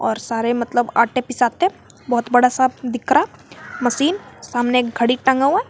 और सारे मतलब आटे पिसाते बहुत बड़ा सा दिख रहा हैं मशीन सामने एक घड़ी टंगा हुआ है।